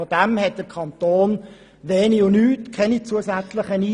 Davon hat der Kanton wenig bis nichts, das heisst keine zusätzlichen Einnahmen.